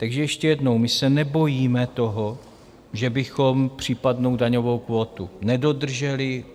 Takže ještě jednou, my se nebojíme toho, že bychom případnou daňovou kvótu nedodrželi.